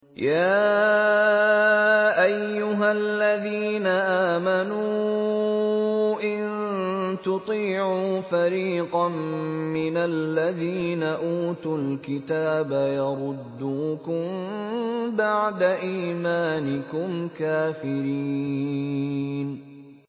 يَا أَيُّهَا الَّذِينَ آمَنُوا إِن تُطِيعُوا فَرِيقًا مِّنَ الَّذِينَ أُوتُوا الْكِتَابَ يَرُدُّوكُم بَعْدَ إِيمَانِكُمْ كَافِرِينَ